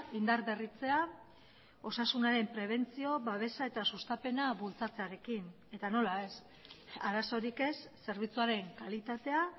indarberritzea osasunaren prebentzio babesa eta sustapena bultzatzearekin eta nola ez arazorik ez zerbitzuaren kalitatea